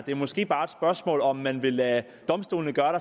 det er måske bare et spørgsmål om hvorvidt man vil lade domstolene gøre